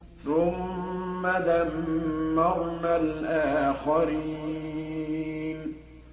ثُمَّ دَمَّرْنَا الْآخَرِينَ